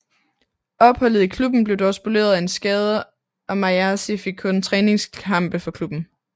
Opholdet i klubben blev dog spoleret af en skade og Mayasi fik kun træningskampe for klubben